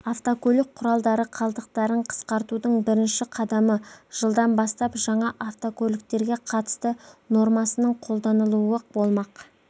автокөлік құралдары қалдықтарын қысқартудың біріші қадамы жылдан бастап жаңа автокөлік терге қатысты нормасының қолданылуы болмақ